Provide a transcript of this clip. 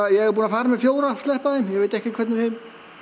ég er búinn að fara með fjóra og sleppa þeim ég veit ekkert hvernig þeim